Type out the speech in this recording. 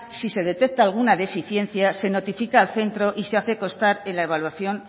si se detecta alguna deficiencia se notifica al centro y se hace constar en la evaluación